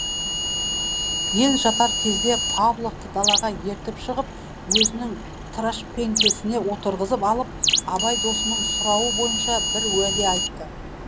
ел жатар кезде павловты далаға ертіп шығып өзінің трашпеңкесіне отырғызып алып абай досының сұрауы бойынша бір уәде айтты